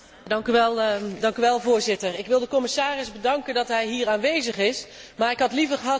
Voorzitter, ik wil de commissaris bedanken voor zijn aanwezigheid hier, maar ik had liever gehad dat hij ergens anders was.